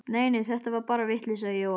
Nei nei, þetta var bara vitleysa í Jóa.